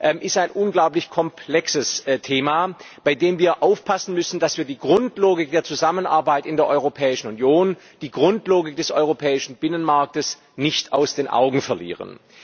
Das ist ein unglaublich komplexes Thema, bei dem wir aufpassen müssen, dass wir die Grundlogik der Zusammenarbeit in der Europäischen Union, die Grundlogik des europäischen Binnenmarktes, nicht aus den Augen verlieren.